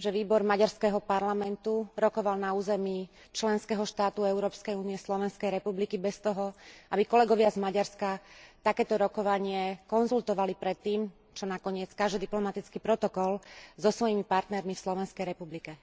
že výbor maďarského parlamentu rokoval na území členského štátu Európskej únie, Slovenskej republiky, bez toho, aby kolegovia z Maďarska takéto rokovanie konzultovali predtým čo nakoniec káže diplomatický protokol so svojimi partnermi v Slovenskej republike.